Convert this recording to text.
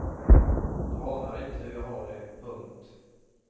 Du anar inte hur jag har det. punkt